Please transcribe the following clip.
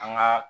An ga